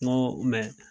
N ko